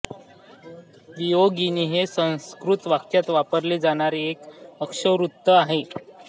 वियोगिनी हे संस्कृत काव्यात वापरले जाणारे एक अक्षरवृत्त आहे